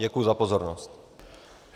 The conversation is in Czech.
Děkuji za pozornost.